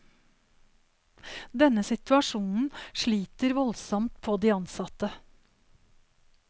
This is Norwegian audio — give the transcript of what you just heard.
Denne situasjonen sliter voldsomt på de ansatte.